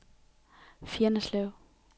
Fjenneslev